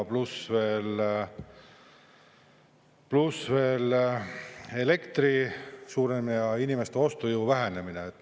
Pluss veel elektri suurem hind ja inimeste ostujõu vähenemine.